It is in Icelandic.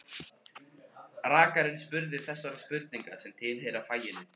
Rakarinn spurði þessara spurninga sem tilheyra faginu